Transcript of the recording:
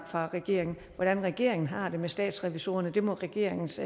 fra regeringen hvordan regeringen har det med statsrevisorerne må regeringens